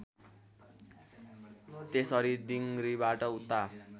त्यसरी दिङरीबाट उता